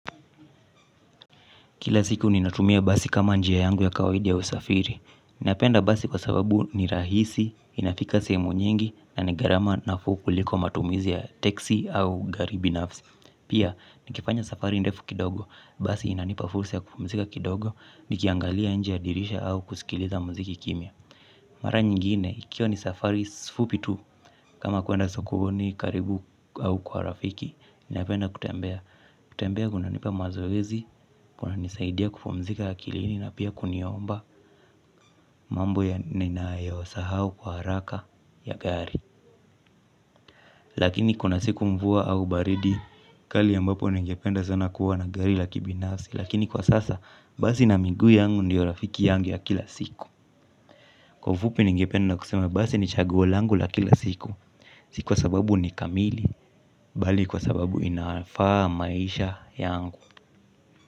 Kila siku ninatumia basi kama njia yangu ya kawaida ya usafiri. Napenda basi kwa sababu ni rahisi inafika sehemu nyingi na ni gharama nafuu kuliko matumizi ya teksi au gari binafsi. Pia nikifanya safari ndefu kidogo basi inanipa fursa ya kupumzika kidogo nikiangalia nje ya dirisha au kusikiliza mziki kimya. Mara nyingine ikiwa ni safari fupi tu kama kuenda sokoni karibu au kwa rafiki napenda kutembea. Kutembea kunanipa mazoezi kuna nisaidia kupumzika akilini na pia kuniomba mambo ya ninayo sahau kwa haraka ya gari. Lakini kuna siku mvua au baridi kali ambapo ningependa sana kuwa na gari la kibinafsi lakini kwa sasa basi na miguu yangu ndiyo rafiki yangu ya kila siku kwa fupi ningependa kusema basi ni chaguo langu la kila siku. Si kwa sababu ni kamili bali kwa sababu inafaa maisha yangu.